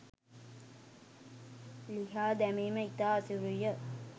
ලිහා දැමීම ඉතා අසීරු ය.